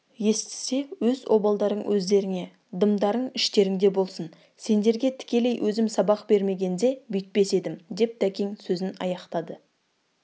естісе өз обалдарың өздеріңе дымдарың іштеріңде болсын сендерге тікелей өзім сабақ бермегенде бүйтпес едім деп тәкең сөзін аяқтады